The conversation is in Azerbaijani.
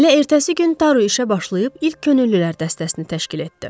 Elə ertəsi gün Taru işə başlayıb ilk könüllülər dəstəsini təşkil etdi.